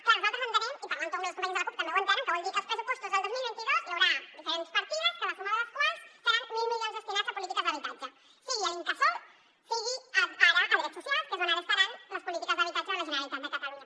clar nosaltres entenem i parlant ho amb les companyes de la cup també ho entenen que vol dir que als pressupostos del dos mil vint dos hi haurà diferents partides que la suma de les quals seran mil milions destinats a polítiques d’habitatge sigui a l’incasòl sigui ara a drets socials que és on estaran les polítiques d’habitatge de la generalitat de catalunya